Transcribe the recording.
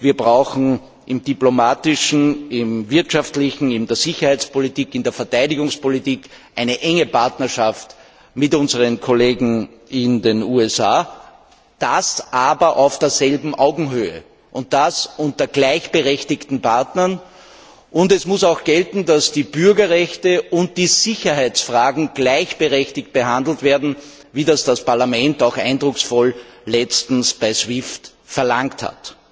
Wir brauchen im diplomatischen Bereich, im wirtschaftlichen Bereich, in der Sicherheitspolitik, in der Verteidigungspolitik eine enge Partnerschaft mit unseren Kollegen in den USA, allerdings auf gleicher Augenhöhe und als gleichberechtigte Partner. Es muss auch gelten, dass die Bürgerrechte und die Sicherheitsfragen gleichberechtigt behandelt werden, wie es das Parlament auch zuletzt eindrucksvoll bei SWIFT verlangt hat.